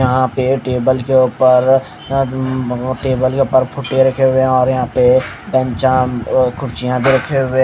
यहां पे टेबल के ऊपर अ म् टेबल के ऊपर फुट्टे रखे हुए हैं और यहां पे पंचांग अ खुर्चियाँ भी रखे हुए--